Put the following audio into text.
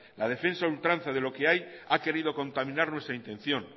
la defensa a ultranza de lo que hay ha querido contaminar nuestra intención